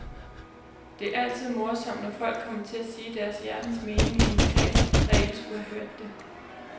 Det er altid morsomt, når folk kommer til at sige deres hjertens mening i en kreds, der ikke skulle have hørt det.